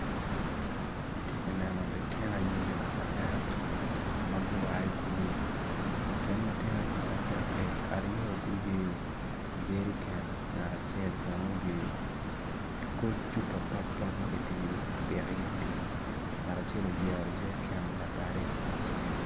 Atye ka neno lutino anyira adek ma gua i kulu i kin lutino anyira adek-ki aryo guyeyo jeriken ngat acel bene oyeyo koc cupa papap ma kipiko iye pii ngat acel olyero jeriken labadde icinge.